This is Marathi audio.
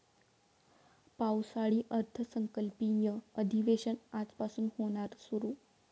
पावसाळी अर्थसंकल्पीय अधिवेशन आजपासून होणार सुरु